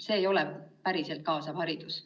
See ei ole päriselt kaasav haridus.